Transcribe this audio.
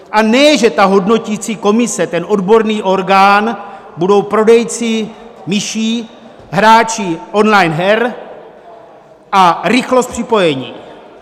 A ne že ta hodnotící komise, ten odborný orgán, budou prodejci myší, hráči on-line her a rychlost připojení.